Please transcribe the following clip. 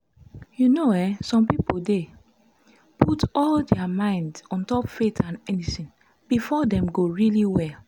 you know eh some pipo dey put all dia mind ontop faith and medicine befor dem go really well?